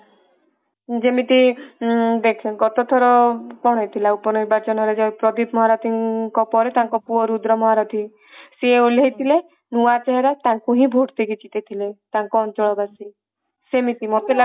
ଯେମିତି ଦେଖେ ଗତ ଥର କଣ ହେଇଥିଲା ଉପ ନିର୍ବାଚନ ରେ ଯାଇକି ପ୍ରଦୀପ ମହାରଥୀଙ୍କ ପରେ ତାଙ୍କ ପୁଅ ରୁଦ୍ର ମହାରଥୀ ସିଏ ଓଲ୍ଲେଇ ଥିଲେ ନୂଆ ଚେହେରା ତାଙ୍କୁ ହିଁ ଭୋଟ ଦେଇକି ଜିତେଇ ଥିଲେ ତାଙ୍କ ଅଞ୍ଚଳ ବାସୀ ସେମିତି ମତେ ଲାଗୁଛି